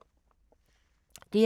DR2